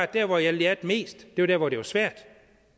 der hvor jeg lærte mest var der hvor det var svært